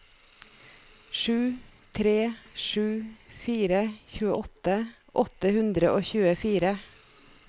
sju tre sju fire tjueåtte åtte hundre og tjuefire